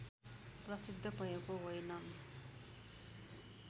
प्रसिद्ध भएको होइनन्